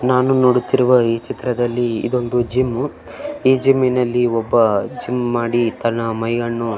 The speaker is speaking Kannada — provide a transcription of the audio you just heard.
ನಾನು ನೋಡುತ್ತಿರುವ ಈ ಚಿತ್ರದಲ್ಲಿ ಇದೊಂದು ಜಿಮ್ ಈ ಜಿಮ್ ನಲ್ಲಿ ಒಬ್ಬ ಜಿಮ್ ಮಾಡಿ ತನ್ನ ಮೈಯನ್ನು--